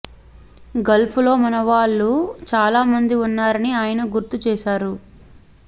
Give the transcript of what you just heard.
Gulf లో మనవాళ్లు చాలా మంది ఉన్నారని ఆయన గుర్తు చేశారు